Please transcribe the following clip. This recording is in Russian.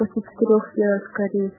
красноярск